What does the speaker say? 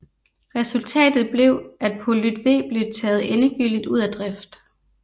Resultatet blev at Polyt V blev taget endegyldigt ud af drift